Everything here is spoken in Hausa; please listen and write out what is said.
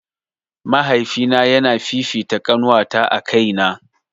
Mahaifina yana fifita ƙanuwata a kaina